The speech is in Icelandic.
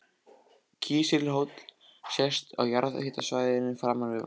Kísilhóll sést á jarðhitasvæðinu framan við Vatnsfell.